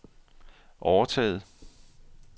overtaget